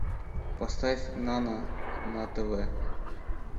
поставь нано на тв